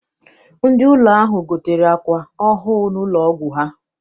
Ndị ụlọ ahụ gotere àkwà ọhụụ n'ụlọ ọgwụ ha.